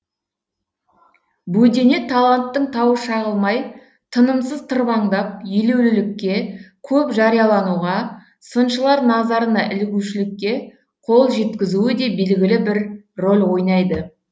бөдене таланттың тауы шағылмай тынымысыз тырбаңдап елеулілікке көп жариялануға сыншылар назарына ілігушілікке қол жеткізуі де белгілі бір рөл ойнайды